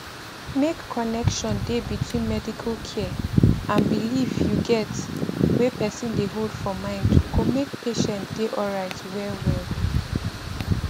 make connection dey between medical care and belief you get wey person dey hold for mind go make patient dey alright well well